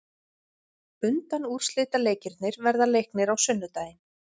Undanúrslitaleikirnir verða leiknir á sunnudaginn.